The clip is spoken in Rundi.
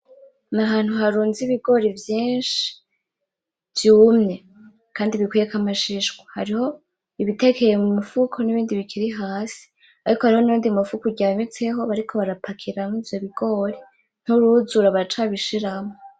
N'ahantu harunze ibigori vyinshi vyumye Kandi bikuyeko ibishishwa. Hariho ibitekeye mumufuko, n'ibindi bikiri hasi ariko hariho nuyundi mufuko uryamitseho bariko barapakiramwo ivyo bigori nturuzura baracabishiramwo.